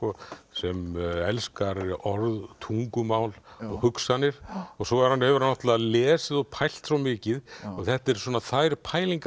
sem elskar orð tungumál og hugsanir og svo hefur hann hefur hann náttúrulega lesið og pælt svo mikið og þetta eru svona þær pælingar